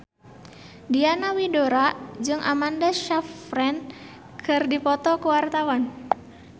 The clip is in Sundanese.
Diana Widoera jeung Amanda Sayfried keur dipoto ku wartawan